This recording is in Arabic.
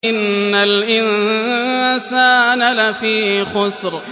إِنَّ الْإِنسَانَ لَفِي خُسْرٍ